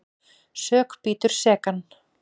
Sök bítur sekan.